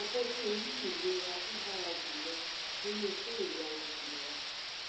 a fẹ kí o ní ìlera tó dára jù lọ nínú iṣẹ ìyanu ìlera